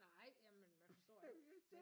Nej jamen man forstår